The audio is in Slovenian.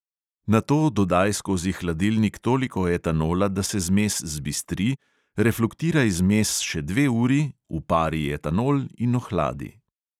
Nato dodaj skozi hladilnik toliko etanola, da se zmes zbistri, refluktiraj zmes še dve uri, upari etanol in ohladi.